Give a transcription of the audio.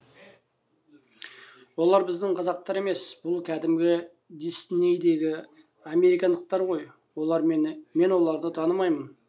олар біздің қазақтар емес бұл кәдімгі диснейдегі американдықтар ғой олар мені мен оларды танымаймын